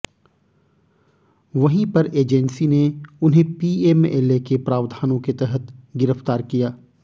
वहीं पर एजेंसी ने उन्हें पीएमएलए के प्रावधानों के तहत गिरफ्तार किया